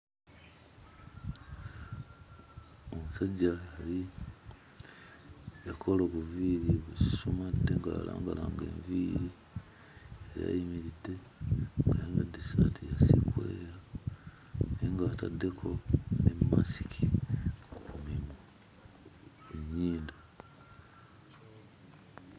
Omusajja yali yakola obuviiri obususumadde, nga yalangalanga enviiri. Yali ayimiridde ng'ayambadde essaati ya sikweya era ng'ataddeko ne masiki ku mimwa ku nnyindo.